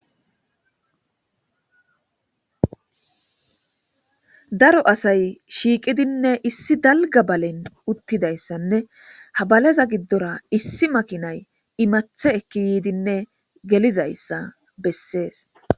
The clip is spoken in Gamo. Daro asay shiiqidinne issi dalga balen uttidaysanne ha baleza gidora issi makinay imatha ase ekidinne helizaysa besses